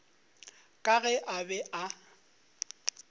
ka ge a be a